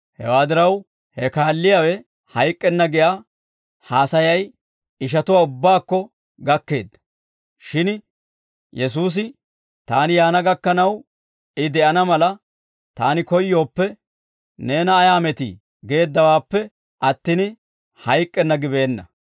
Hewaa diraw, he kaalliyaawe hayk'k'enna giyaa haasayay ishatuwaa ubbaakko gakkeedda; shin Yesuusi, «Taani yaana gakkanaw, I de'ana mala, Taani koyyooppe, neena ayaa metii?» geeddawaappe attin, «Hayk'k'enna» gibeenna.